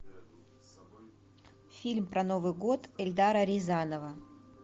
фильм про новый год эльдара рязанова